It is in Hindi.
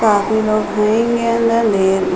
काफी लोग हेंगे अंदर ले --